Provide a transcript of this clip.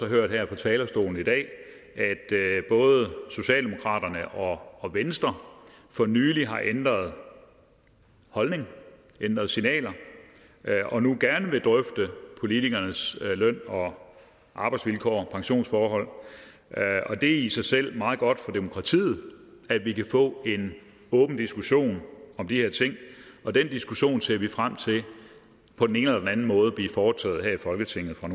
hørt her fra talerstolen i dag at både socialdemokraterne og og venstre for nylig har ændret holdning ændret signaler og nu gerne vil drøfte politikernes løn og arbejdsvilkår pensionsforhold det er i sig selv meget godt for demokratiet at vi kan få en åben diskussion om de her ting og den diskussion ser vi frem til på den ene eller den anden måde bliver foretaget her i folketinget fra